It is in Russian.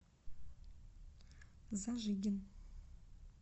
зажигин